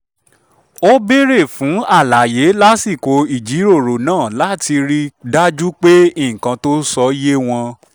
ó béèrè fún àlàyé lásìkò ìjíròrò náà láti rí i dájú pé nǹkan tó ń sọ yé wọn